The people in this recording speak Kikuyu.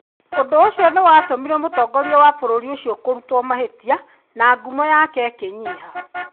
Ũndũ ũcio nĩ watũmire mũtongoria wa bũrũri ũcio kũrutwo mahitia . Na ngumo yake ĩkĩnyiha.